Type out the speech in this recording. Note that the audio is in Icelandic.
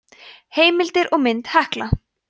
heimildir og mynd hekla